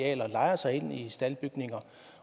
arealer lejer sig ind i staldbygninger